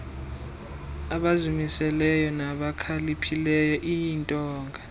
abazimiseleyo nabakhaliphileyo iintonga